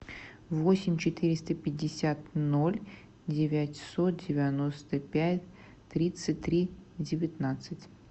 восемь четыреста пятьдесят ноль девятьсот девяносто пять тридцать три девятнадцать